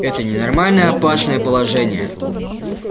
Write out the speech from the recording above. это ненормальное опасное положение